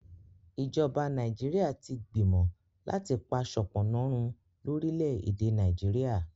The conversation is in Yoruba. ìjọba Nàìjíríà tí gbìmọ láti pá sopona run lórí lẹ èdè Nàìjíríà